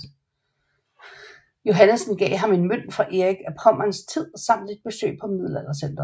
Johannessen gav ham en mønt fra Erik af Pommerns tid samt et besøg på Middelaldercentret